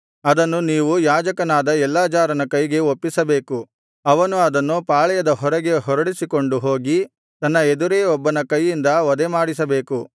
ಅದನ್ನು ನೀವು ಯಾಜಕನಾದ ಎಲ್ಲಾಜಾರನ ಕೈಗೆ ಒಪ್ಪಿಸಬೇಕು ಅವನು ಅದನ್ನು ಪಾಳೆಯದ ಹೊರಗೆ ಹೊರಡಿಸಿಕೊಂಡು ಹೋಗಿ ತನ್ನ ಎದುರೇ ಒಬ್ಬನ ಕೈಯಿಂದ ವಧೆಮಾಡಿಸಬೇಕು